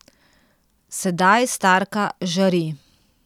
Sedaj starka žari.